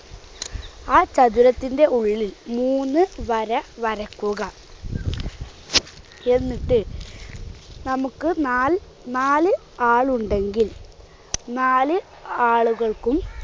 ആ ചതുരത്തിന്റെ ഉള്ളിൽ മൂന്ന് വര വരയ്ക്കുക. എന്നിട്ട് നമുക്ക് നാൽനാല് ആളുണ്ടെങ്കിൽ നാല് ആളുകൾക്കും